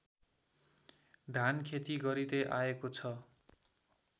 धानखेती गरिँदै आएको छ